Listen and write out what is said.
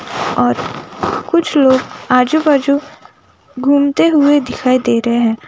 और कुछ लोग आजू बाजू घूमते हुए दिखाई दे रहे हैं।